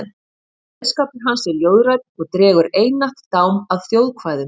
Kveðskapur hans er ljóðrænn og dregur einatt dám af þjóðkvæðum.